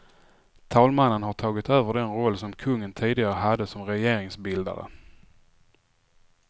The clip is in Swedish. Talmannen har tagit över den roll som kungen tidigare hade som regeringsbildare.